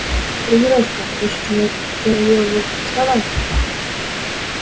тренировка решительно заявил вуд вставай